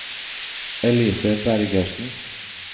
Elise Bergersen